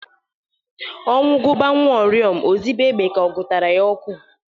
Ọnwu gụba nwauriom o zibe egbe ka ọ gutara ya ọkụ